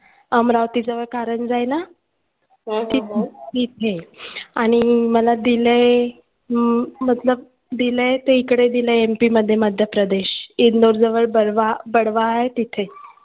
अमरावतीजवळ कारंज्या आहे ना तिथे आणि मला दिलंय अं मतलब दिलंय ते इकडं MP मध्ये मध्यप्रदेश इंदूर जवळ बरवा बडवा आहे तिथे